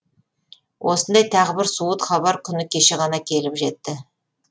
осындай тағы бір суыт хабар күні кеше ғана келіп жетті